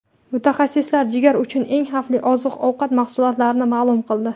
Mutaxassislar jigar uchun eng xavfli oziq-ovqat mahsulotlarini ma’lum qildi.